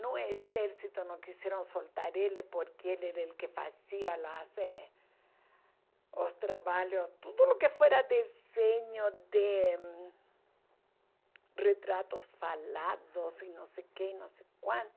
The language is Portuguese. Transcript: No exército não quiseram soltar ele porque ele era o que fazia lá eh os trabalhos, tudo o que fora desenho de retratos falados e não sei o quê e não sei quanto.